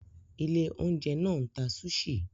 Ilé-oúnjẹ náà ń ta sushi.